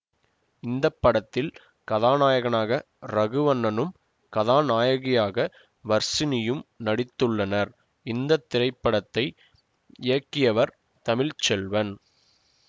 இந்த படத்தில் கதாநாயகனாக ரகுவண்ணனும் கதாநாயகியாக வர்ஷினியும் நடித்துள்ளனர் இந்த திரைப்படத்தை இயக்கியவர் தமிழ் செல்வன்